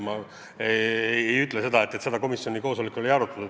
Ma ei ütle vastates, et seda komisjoni koosolekul ei arutatud.